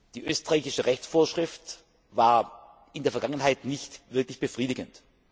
Die österreichische Rechtsvorschrift war in der Vergangenheit nicht wirklich befriedigend.